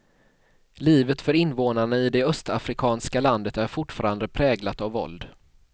Livet för invånarna i det östafrikanska landet är fortfarande präglat av våld.